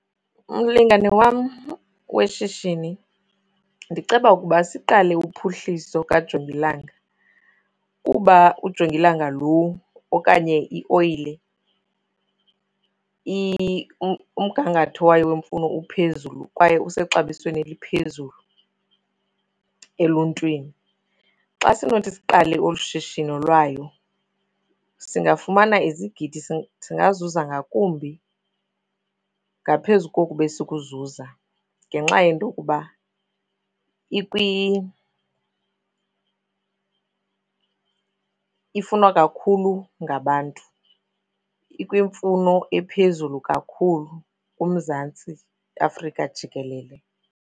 Mlingane wam weshishini, ndiceba ukuba siqale uphuhliso kajongilanga kuba ujongilanga lo okanye ioyile umgangatho wayo wemfuno uphezulu kwaye usexabisweni eliphezulu eluntwini. Xa sinothi siqale olu shishino lwayo singafumana izigidi, singazuza ngakumbi ngaphezu koku besikuzuza ngenxa yento yokuba ifunwa kakhulu ngabantu, ikwimfuno ephezulu kakhulu kuMzantsi Afrika jikelele.